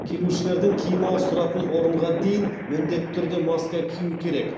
келушілердің киім ауыстыратын орынға дейін міндетті түрде маска кию керек